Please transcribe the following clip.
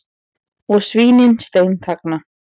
Og svínin steinþagna.